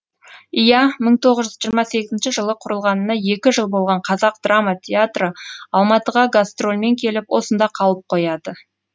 иә мың тоғыз жүз жиырма сегізінші жылы құрылғанына екі жыл болған қазақ драма театры алматыға гастрольмен келіп осында қалып қояды